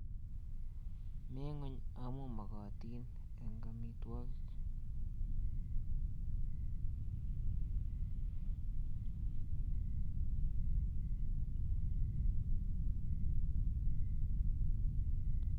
Mi ng'ony amuu makatin eng amitwogik.